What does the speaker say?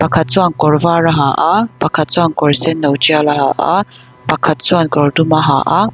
pakhat chuan kawr var a ha a pakhat chuan kawrsen no tial a ha a pakhat chuan kawr dum a ha a.